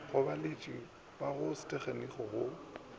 go baeletši ba sethekniki go